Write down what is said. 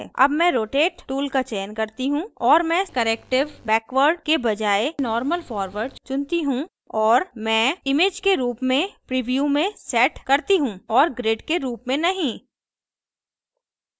अब मैं rotate tool का चयन करती choose और मैं corrective backward के बजाय normal forward चुनती choose और मैं image के रूप में प्रिव्यू में set करती choose और grid के रूप में नहीं